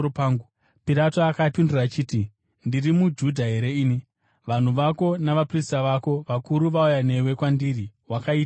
Pirato akapindura achiti, “Ndiri muJudha here ini? Vanhu vako navaprista vako vakuru vauya newe kwandiri. Wakaiteiko?”